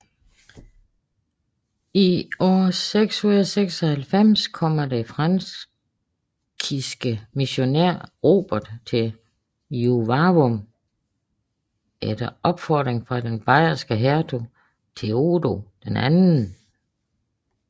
I år 696 kommer den frankiske missionær Rupert til Juvavum efter opfordring fra den bayerske hertug Theodo II